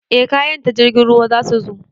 Eh kayan ta jirgin ruwa zasu zo